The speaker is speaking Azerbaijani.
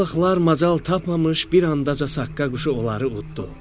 Rizə balıqlar macal tapmamış bir anda Saqqa quşu onları utdu.